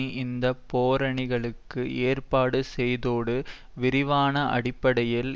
இந்த பேரணிகளுக்கு ஏற்பாடு செய்ததோடு விரிவான அடிப்படையில்